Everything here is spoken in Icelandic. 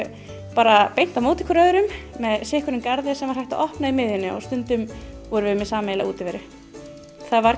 bara beint á móti hvor öðrum með sitt hvorn garðinn sem var hægt að opna í miðjunni og stundum vorum við með sameiginlega útiveru það var